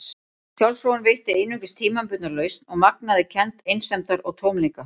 Sjálfsfróun veitti einungis tímabundna lausn og magnaði kennd einsemdar og tómleika.